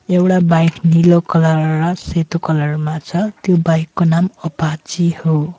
एउडा बाइक नीलो कलर र सेतो कलर मा छ त्यो बाइक को नाम अपाचे हो।